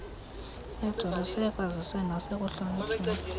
ejoliswe ekwaziseni nasekuhlonitshweni